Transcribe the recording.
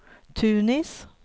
Tunis